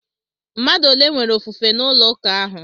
Mmadụ ole nwere ofufe n'ụlọ ụka ahụ?